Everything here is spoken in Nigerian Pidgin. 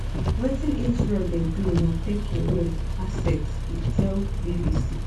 wetin israel dey do na take away assets e tell bbc